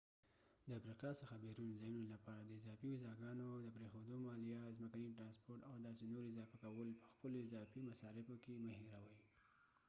د افریقا څخه بیرون ځایونو لپاره د اضافي ویزاګانو د پریښودو مالیه ځمکني ترانسپورت او داسې نورو اضافه کول په خپلو اضافي مصارفو کې مه هیروه